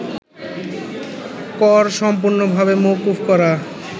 কর সম্পূর্ণভাবে মওকুফ করা